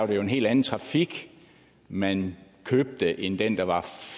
det jo en helt anden trafik man købte end den der var